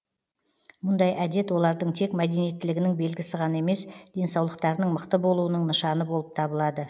мұндай әдет олардың тек мәдениеттілігінің белгісі ғана емес денсаулықтарының мықты болуының нышаны болып табылады